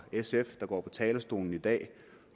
sf der går på talerstolen i dag